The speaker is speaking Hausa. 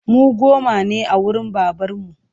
Mu goma ne a wurin babarmu